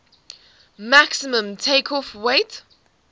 maximum takeoff weight